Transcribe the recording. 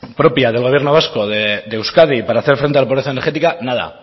propia del gobierno vasco de euskadi para hacer frente a la pobreza energética nada